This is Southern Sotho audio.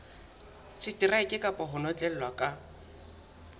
seteraeke kapa ho notlellwa ka